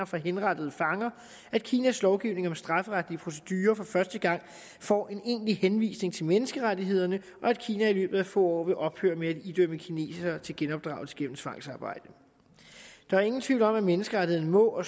fra henrettede fanger at kinas lovgivning om strafferetlige procedurer for første gang får en egentlig henvisning til menneskerettighederne og at kina i løbet af få år vil ophøre med at idømme kinesere til genopdragelse gennem tvangsarbejde der er ingen tvivl om at menneskerettigheder må